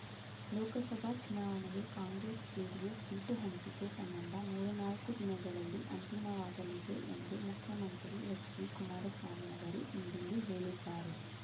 ಲೋಕಸಭಾ ಚುನಾವಣೆಗೆ Congress JDS seat ಹಂಚಿಕೆ ಸಂಬಂಧ ಮೂರು ನಾಲ್ಕು ದಿನಗಳಲ್ಲಿ ಅಂತಿಮವಾಗಲಿದೆ ಎಂದು ಮುಖ್ಯಮಂತ್ರಿ ಹೆಚ್ಡಿ ಕುಮಾರಸ್ವಾಮಿ ಅವರು ಇಂದಿಲ್ಲಿ ಹೇಳಿದ್ದಾರೆ